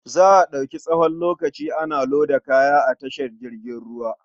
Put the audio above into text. Za a ɗauki tsawon lokaci ana loda kaya a tashar jirgin ruwa.